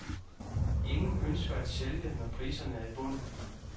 Ingen ønsker at sælge, når priserne er i bund.